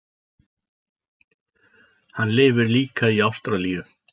Hann lifir líka í Ástralíu.